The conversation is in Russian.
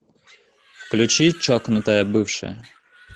включи чокнутая бывшая